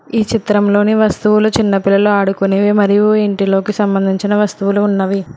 ఈ చిత్రంలోని వస్తువులు చిన్నపిల్లలు ఆడుకునేవి మరియు ఇంటిలోకి సంబంధించిన వస్తువులు ఉన్నవి.